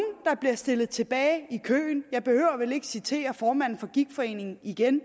der bliver stillet tilbage i køen jeg behøver vel ikke citere formanden for gigtforeningen igen